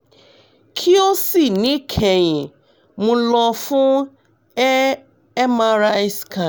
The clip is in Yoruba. ki o si nikẹhin mo lọ fun a mri scan